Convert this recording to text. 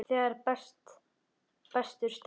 Þegar betur stendur á